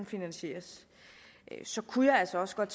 finansieres så kunne jeg altså også godt